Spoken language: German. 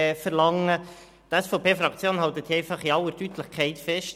Die SVPFraktion hält einfach in aller Deutlichkeit fest: